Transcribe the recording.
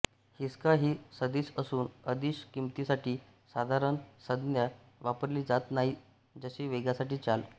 हिसका ही सदिश असून अदिश किंमतीसाठी साधारण संज्ञा वापरली जात नाही जसे वेगासाठी चाल